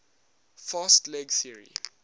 fast leg theory